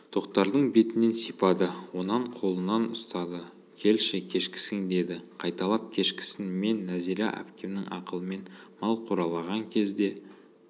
тоқтардың бетінен сипады онан қолынан ұстады келші кешкісін деді қайталап кешкісін мен нәзира әпкемнің ақылымен мал қоралаған кезде